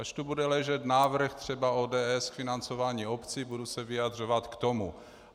Až tu bude ležet návrh třeba ODS k financování obcí, budu se vyjadřovat k tomu.